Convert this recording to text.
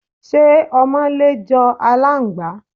Ṣé ọmọlé jọ aláǹgbá?